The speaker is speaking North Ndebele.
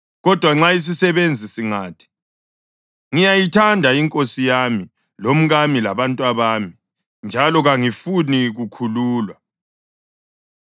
Kodwa nxa isisebenzi singathi, ‘Ngiyayithanda inkosi yami lomkami labantwabami, njalo kangifuni kukhululwa,’